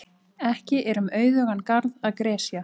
Ekki er um auðugan garð að gresja.